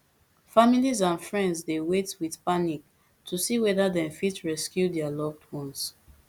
families and friends dey wait wit panic to see weda dem fit rescue dia loved ones